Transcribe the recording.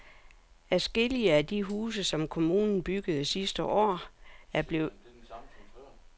Adskillige af de huse, som kommunen byggede sidste år, er blevet beskadiget under den sidste tids stormvejr.